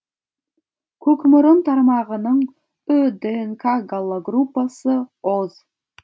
көкмұрын тармағының ү днк гаплогруппасы о